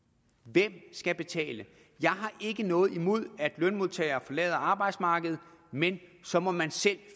hvem skal betale jeg har ikke noget imod at lønmodtagere forlader arbejdsmarkedet men så må man selv